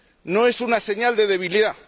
No es una señal de debilidad.